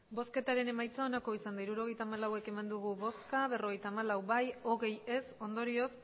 emandako botoak hirurogeita hamalau bai berrogeita hamalau ez hogei ondorioz